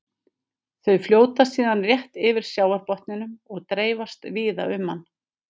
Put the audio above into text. Þau fljóta síðan rétt yfir sjávarbotninum og dreifast víða um hann.